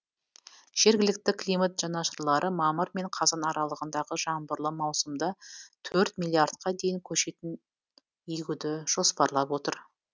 жергілікті климат жанашырлары мамыр мен қазан аралығындағы жаңбырлы маусымда төрт миллиардқа дейін көшетін егуді жоспарлап отыр